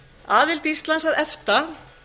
aðild íslands að efta